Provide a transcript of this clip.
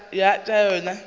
tša yona tša ka gare